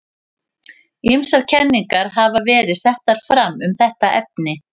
Ýmsar kenningar hafa verið settar fram um þetta efni.